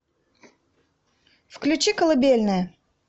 включи колыбельная